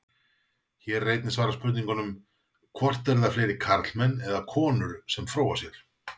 Hér er einnig svarað spurningunum: Hvort eru það fleiri karlmenn eða konur sem fróa sér?